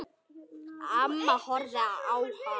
Amma horfði á hana.